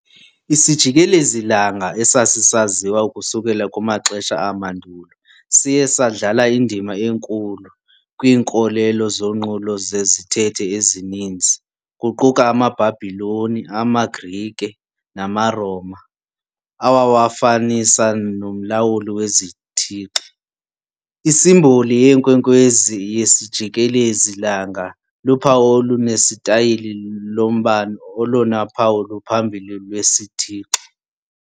Isijikelezi-langa, esasisaziwa ukususela kumaxesha amandulo, siye sadlala indima enkulu kwiinkolelo zonqulo zezithethe ezininzi, kuquka amaBhabhiloni, amaGrike namaRoma, awawafanisa nomlawuli wezithixo. Isimboli yeenkwenkwezi yesijikelezi-langa luphawu olunesitayile lombane, olona phawu luphambili lwesithixo.